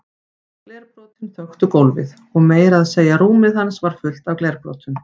Glerbrotin þöktu gólfið og meira að segja rúmið hans var fullt af glerbrotum.